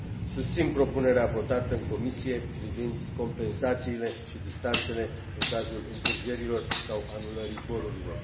Susțin propunerea votată în Comisie privind compensațiile și distanțele în cazul întârzierilor sau anulării zborurilor.